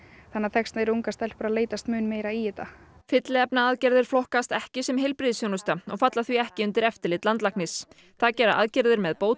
þess vegna eru ungar stelpur að leitast mun meira í þetta fylliefnaaðgerðir flokkast ekki sem heilbrigðisþjónusta og falla því ekki undir eftirlit landlæknis það gera aðgerðir með